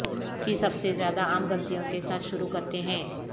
کی سب سے زیادہ عام غلطیوں کے ساتھ شروع کرتے ہیں